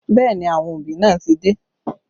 Bẹẹ ni, àwọn òbí náà ti dé